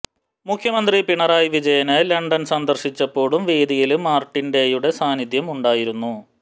മുഖ്യമന്ത്രി പിണറായി വിജയന് ലണ്ടന് സന്ദര്ശിച്ചപ്പോഴും വേദിയില് മാര്ട്ടിന് ഡേയുടെ സാന്നിധ്യം ഉണ്ടായിരുന്നു